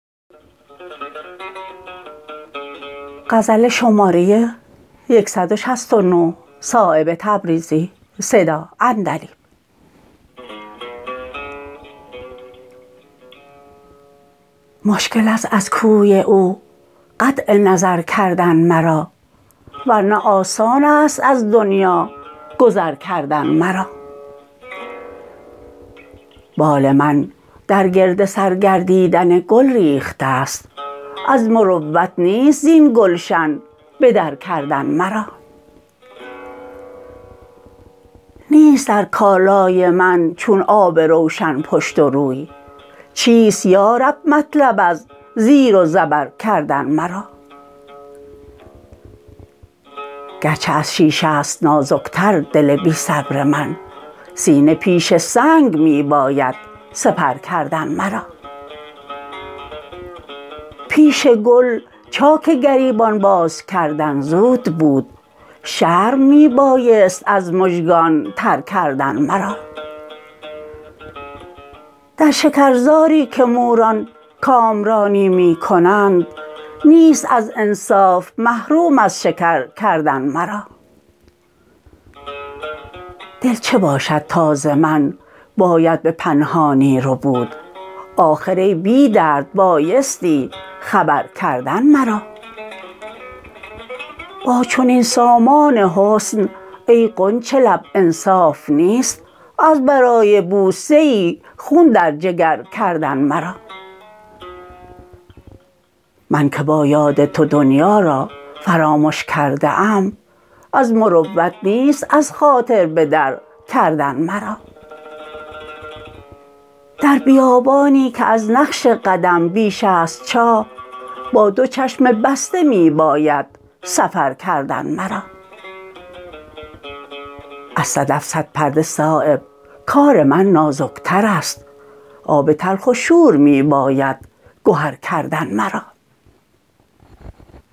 مشکل است از کوی او قطع نظر کردن مرا ورنه آسان است از دنیا گذر کردن مرا بال من در گرد سر گردیدن گل ریخته است از مروت نیست زین گلشن به در کردن مرا نیست در کالای من چون آب روشن پشت و روی چیست یارب مطلب از زیر و زبر کردن مرا گرچه از شیشه است نازک تر دل بی صبر من سینه پیش سنگ می باید سپر کردن مرا پیش گل چاک گریبان باز کردن زود بود شرم می بایست از مژگان تر کردن مرا در شکرزاری که موران کامرانی می کنند نیست از انصاف محروم از شکر کردن مرا دل چه باشد تا ز من باید به پنهانی ربود آخر ای بی درد بایستی خبر کردن مرا با چنین سامان حسن ای غنچه لب انصاف نیست از برای بوسه ای خون در جگر کردن مرا من که با یاد تو دنیا را فرامش کرده ام از مروت نیست از خاطر به در کردن مرا در بیابانی که از نقش قدم بیش است چاه با دو چشم بسته می باید سفر کردن مرا از صدف صد پرده صایب کار من نازکترست آب تلخ و شور می باید گهر کردن مرا